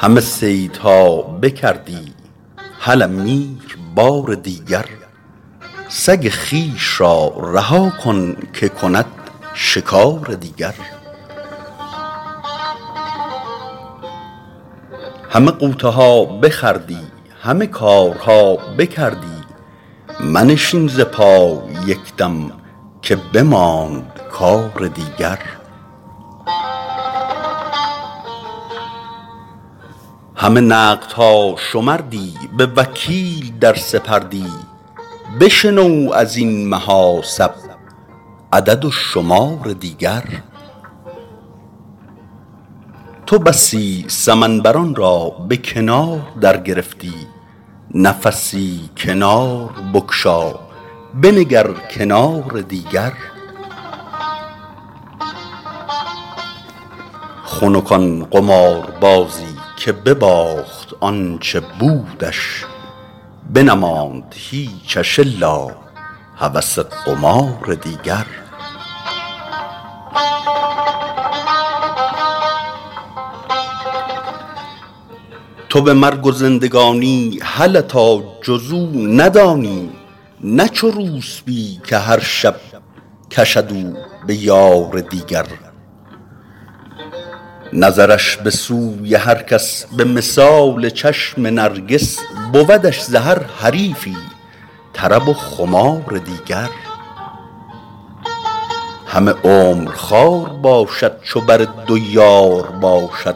همه صیدها بکردی هله میر بار دیگر سگ خویش را رها کن که کند شکار دیگر همه غوطه ها بخوردی همه کارها بکردی منشین ز پای یک دم که بماند کار دیگر همه نقدها شمردی به وکیل در سپردی بشنو از این محاسب عدد و شمار دیگر تو بسی سمن بران را به کنار درگرفتی نفسی کنار بگشا بنگر کنار دیگر خنک آن قماربازی که بباخت آ ن چه بودش بنماند هیچش الا هوس قمار دیگر تو به مرگ و زندگانی هله تا جز او ندانی نه چو روسپی که هر شب کشد او به یار دیگر نظرش به سوی هر کس به مثال چشم نرگس بودش ز هر حریفی طرب و خمار دیگر همه عمر خوار باشد چو بر دو یار باشد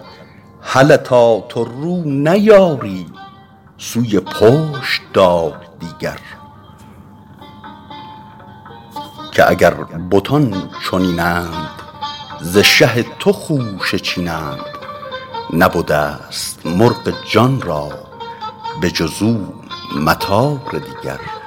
هله تا تو رو نیاری سوی پشت دار دیگر که اگر بتان چنین اند ز شه تو خوشه چینند نبده ست مرغ جان را به جز او مطار دیگر